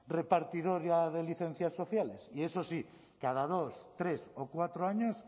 repartidora de licencias sociales y eso sí cada dos tres o cuatro años